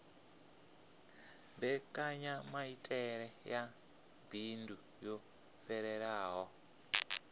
mbekanyamaitele ya bindu yo fhelelaho